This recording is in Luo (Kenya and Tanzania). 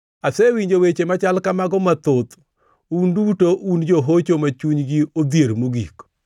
“Asewinjo weche machal kamago mathoth; un duto un johocho ma chunygi odhier mogik!